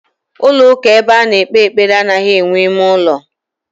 Ulo uka ebe ano ekpe ekpere anoghi enwe ime ulo.